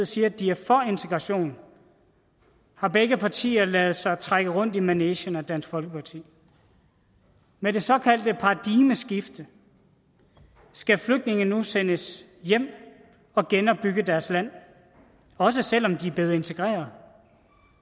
siger at de er for integration har begge partier ladet sig trække rundt i manegen af dansk folkeparti med det såkaldte paradigmeskifte skal flygtninge nu sendes hjem og genopbygge deres land også selv om de er blevet integreret